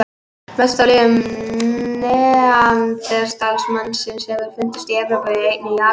Mest af leifum neanderdalsmannsins hafa fundist í Evrópu en einnig í Asíu.